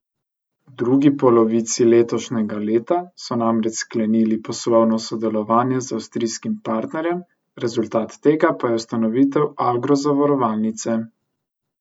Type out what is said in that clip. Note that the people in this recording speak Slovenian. V drugi polovici letošnjega leta so namreč sklenili poslovno sodelovanje z avstrijskim partnerjem, rezultat tega pa je ustanovitev Agro Zavarovalnice.